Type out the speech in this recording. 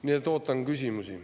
Nii et ootan küsimusi.